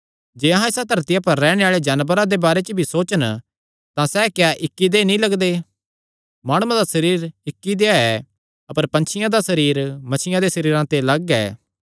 जे अहां इसा धरतिया पर रैहणे आल़े जानवरां दे बारे च भी सोचन तां सैह़ इक्क देहय् नीं लगदे माणुआं दा सरीर इक्क देहया ऐ अपर पंछियां दा सरीर मच्छियां दे सरीरे ते लग्ग ऐ